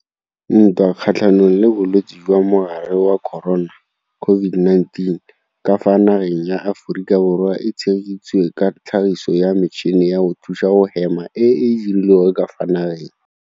Ntwa kgatlhanong le bolwetse jwa mogare wa corona COVID-19 ka fa nageng ya Aforika Borwa e tshegeditswe ka tlhagiso ya metšhini ya go thusa go hema e e dirilweng ka fa nageng.